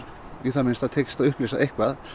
í það minnsta tekist að upplýsa eitthvað